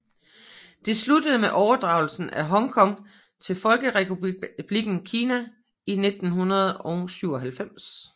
Det sluttede med overdragelsen af Hong Kong til Folkerepublikken Kina i 1997